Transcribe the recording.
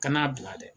Kana bila dɛ